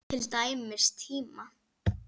Til dæmis tíma.